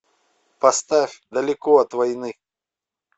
поставь далеко от войны